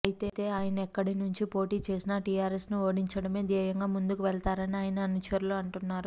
అయితే ఆయన ఎక్కడి నుంచి పోటీ చేసినా టీఆర్ఎస్ ను ఓడించడమే ధ్యేయంగా ముందుకు వెళ్తారని ఆయన అనుచరులు అంటున్నారు